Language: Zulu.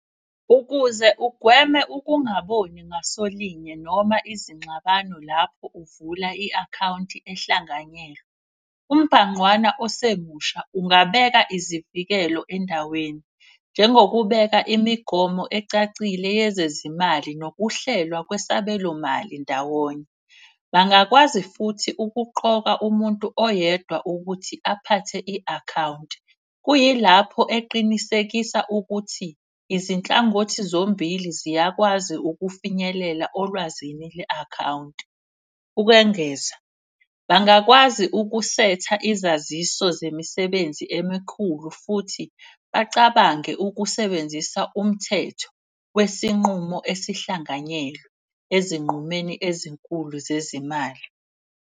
Ukuze ugweme ukungaboni ngasolinye noma izingxabano lapho uvula i-akhawunti ehlanganyelwe. Umbhanqwana osemusha, ungabeka izivikelo endaweni, njengokubeka imigomo ecacile yezezimali nokuhlelwa kwesabelomali ndawonye. Bangakwazi futhi ukuqoka umuntu oyedwa ukuthi aphathe i-akhawunti. Kuyilapho eqinisekisa ukuthi izinhlangothi zombili ziyakwazi ukufinyelela olwazini le-akhawunti. Ukwengeza, bangakwazi ukusetha izaziso zemisebenzi emikhulu futhi bacabange ukusebenzisa umthetho. Wesinqumo esihlanganyelwe ezinqumeni ezinkulu zezimali.